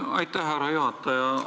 Aitäh, härra juhataja!